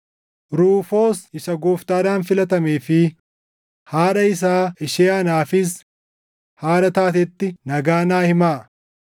Ruufoos isa Gooftaadhaan filatamee fi haadha isaa ishee anaafis haadha taatetti nagaa naa himaa.